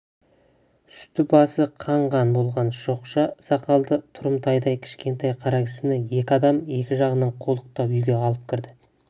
үсті-басы қан-қан болған шоқша сақалды тұрымтайдай кішкентай қара кісіні екі адам екі жағынан қолтықтап үйге алып кірді